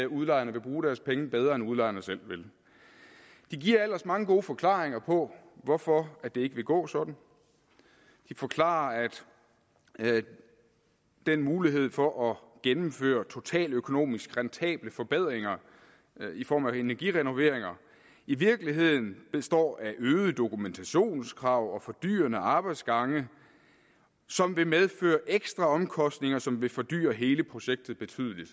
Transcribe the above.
udlejerne vil bruge deres penge bedre end udlejerne selv ved de giver ellers mange gode forklaringer på hvorfor det ikke vil gå sådan de forklarer at den mulighed for at gennemføre totaløkonomisk rentable forbedringer i form af energirenoveringer i virkeligheden består af øget dokumentationskrav og fordyrende arbejdsgange som vil medføre ekstraomkostninger som vil fordyre hele projektet betydeligt